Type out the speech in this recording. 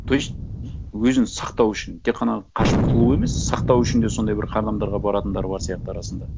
то есть өзін сақтау үшін тек қана қашып құтылуы емес сақтау үшін де сондай бір қадамдарға баратындары бар сияқты арасында